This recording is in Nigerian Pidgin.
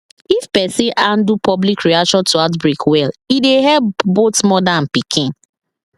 if person handle public reaction to outbreak welle dey help both mother and pikin